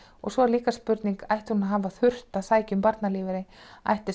svo er líka spurning ætti hún að hafa þurft að sækja um barnalífeyri ætti